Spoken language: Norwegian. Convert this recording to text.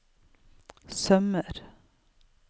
sømmer